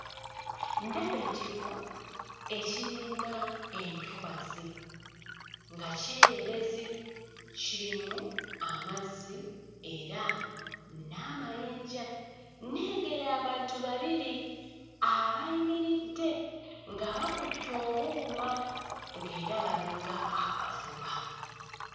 Ndaba ekifo ekiringa entobazi nga kyererezi kirimu amazzi era n'amayinja. Nnengera abantu babiri abayimiridde nga bakutte obuuma nga era balinga abavuba.